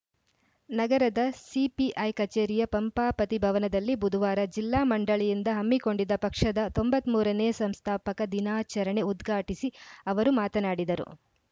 ನಗರದ ಸಿಪಿಐ ಕಚೇರಿಯ ಪಂಪಾಪತಿ ಭವನದಲ್ಲಿ ಬುಧವಾರ ಜಿಲ್ಲಾ ಮಂಡಳಿಯಿಂದ ಹಮ್ಮಿಕೊಂಡಿದ್ದ ಪಕ್ಷದ ತೊಂಬತ್ತ್ ಮೂರ ನೇ ಸಂಸ್ಥಾಪಕ ದಿನಾಚರಣೆ ಉದ್ಘಾಟಿಸಿ ಅವರು ಮಾತನಾಡಿದರು